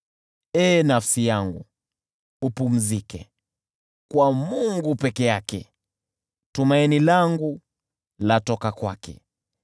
Ee nafsi yangu, upumzike, kwa Mungu peke yake, tumaini langu latoka kwake.